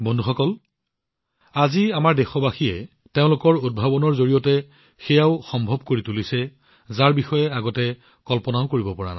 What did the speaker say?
বন্ধুসকল আজি আমাৰ দেশবাসীসকলে তেওঁলোকৰ উদ্ভাৱনৰ দ্বাৰা বস্তুবোৰ সম্ভৱ কৰি তুলিছে যিটো আগতে কল্পনাও কৰিব পৰা নাছিল